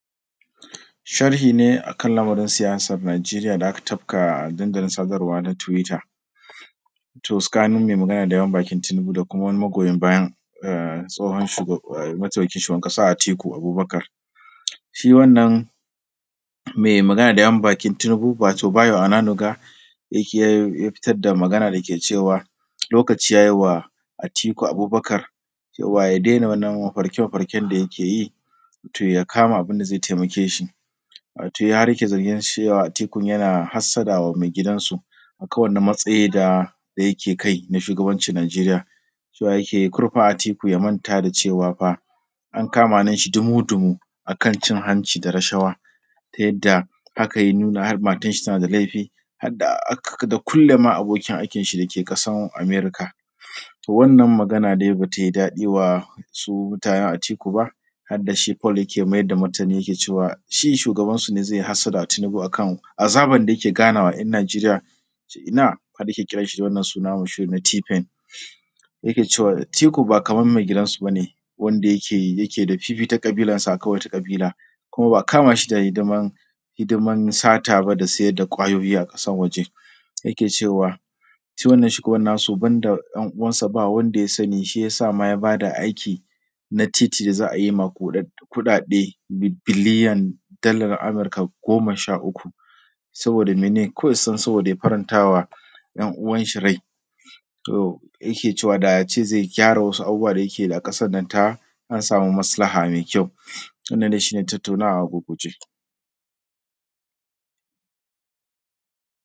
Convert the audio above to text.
Sharhi ne a kan lamarin siyasan Nijeriya da aka tafka a dandalin sadarwa na tiwta. To tsakanin mai magana da yawun bakin Tinibu da kuma wani magoyin bayan tsohon, mataimakin shugaban ƙasa Atiku Abubukar. Shi wannan mai magana da yamun bakin Tinibu wato Bayo ananiga ya fitar da magana da ke cewa lokaci ya yiwa Atiku Abubakar cewa ya dena wannan mafarka-makafarkan da yike, to ya kama abinda zai taimake shi, wato ya riƙe zargin cewa Atiku yana hassada wa mai gidansu, a kan wannan matsayi da yake kai na shugabanci Nijeriya, cewa yake yi karfa Atiku ya manta da cewa fa an kama hannun shi dumu-dumu a kan cin hancı da rashawa, ta yadda haka ya nuna har matan shi tana da laifi hadda, da kulama abokin akin shi da ke kasan Amerika. To wannan magana dai batai daɗiwa su mutanen Atiku ba har dashi folok ke mayar da martani yake cewa shi shugansu ne zai yi hassada ga Tinibu akan azabar da yike ganawa ‘yan Nijeriya yace ina har yake kira shi da wannan suna na tifen, yake cewa Atiku ba kaman mai gidansu ba ne, wanda yake da fifita ƙabilansa akan wata ƙabila, kuma ba kama shi da hidaman sata ba da saida ƙwayoyi a ƙasan waje, yake cewa shi wannan shugaban nasu banda ‘yan uwansa ba wanda ya sani, shiyasa ma ya bada na titi da za a yi makudan kuɗaɗe biyan dalar Amurka goma sha uku, saboda mene Kawai don saboda ya farantawa ‘yan uwan shi rai. Yake cewa da ace zai gyara wasu abubuwa da yike a ƙasan nan ta an samu maslaha mai kyau wannan dai shi ne tattaunawa a gurguje.